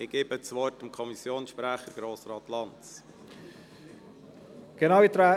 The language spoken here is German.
Ich erteile FiKo-Sprecher Grossrat Lanz das Wort.